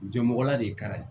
Jɛmɔgɔla de kɛra ye